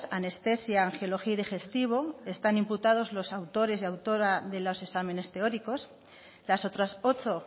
anestesia angiología y digestivo están imputados los autores y autoras de los exámenes teóricos las otras ocho